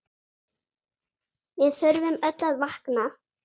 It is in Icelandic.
Við þurfum öll að vakna!